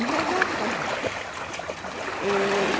E viajavam com a gente